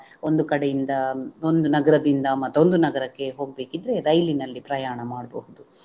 ಒಂದು ಕಡೆಯಿಂದ ಒಂದು ನಗರದಿಂದ ಮತ್ತೊಂದು ನಗರಕ್ಕೆ ಹೋಗ್ಬೇಕಿದ್ರೆ ರೈಲಿನಲ್ಲಿ ಪ್ರಯಾಣ ಮಾಡ್ಬಹುದು